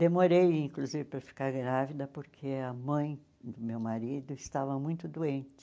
Demorei, inclusive, para ficar grávida porque a mãe do meu marido estava muito doente.